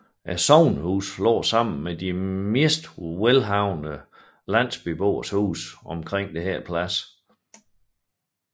Sognehuset lå sammen med de mest velhavende landsbyboeres huse omkring denne plads